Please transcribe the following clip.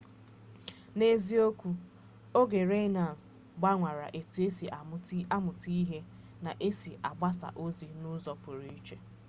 n'eziokwu oge renaissance gbanwere etu esi amuta ihe na ka esi agbasa ozi n'uzo puru iche